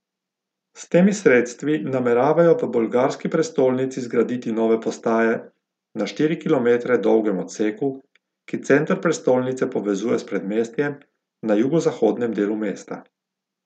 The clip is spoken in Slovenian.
S temi sredstvi nameravajo v bolgarski prestolnici zgraditi nove postaje na štiri kilometre dolgem odseku, ki center prestolnice povezuje s predmestjem na jugozahodnem delu mesta.